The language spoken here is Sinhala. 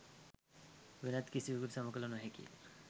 වෙනත් කිසිවෙකුට සම කළ නොහැකි